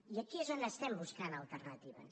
i aquí és on estem buscant alternatives